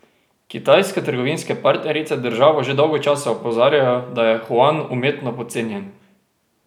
Kitajske trgovinske partnerice državo že dolgo časa opozarjajo, da je juan umetno podcenjen.